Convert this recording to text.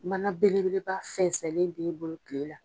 Mana bele beleba fɛnsɛnlen b'e bolo kile la.